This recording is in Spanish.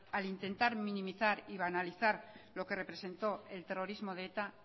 al intentar minimizar y banalizar lo que representó el terrorismo de eta